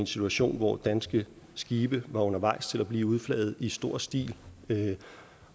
situation hvor danske skibe var undervejs til at blive udflaget i stor stil